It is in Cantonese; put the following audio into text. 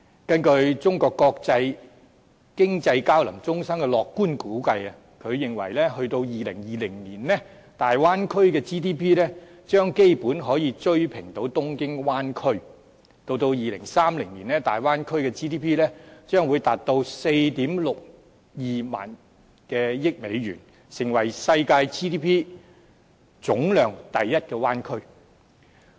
根據中國國際經濟交流中心的樂觀估計，到2020年，大灣區的 GDP 將基本可以追平東京灣區。到2030年，大灣區的 GDP 將會達到 46,200 億美元，成為世界 GDP 總量第一的灣區。